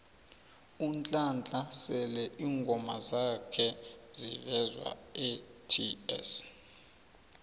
unhlanhla sele ingoma zakha zivezwaets